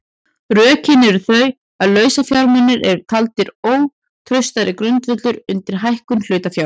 Rökin eru þau að lausafjármunir eru taldir ótraustari grundvöllur undir hækkun hlutafjár.